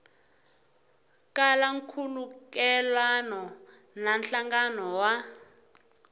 kala nkhulukelano na nhlangano wa